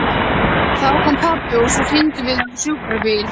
Þá kom pabbi og svo hringdum við á sjúkrabíl.